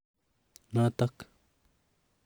notok.